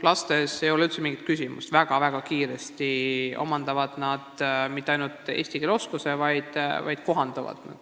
Lastes ei ole üldse mingit küsimust: nad mitte ei omanda ainult eesti keele oskust väga-väga kiiresti, vaid ka kohanduvad ruttu.